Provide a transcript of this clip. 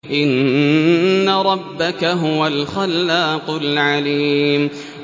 إِنَّ رَبَّكَ هُوَ الْخَلَّاقُ الْعَلِيمُ